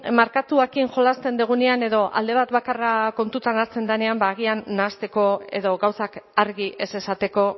markatuekin jolasten dugunean edo alde bat bakarra kontuan hartzen denean agian nahasteko edo gauzak argi ez esateko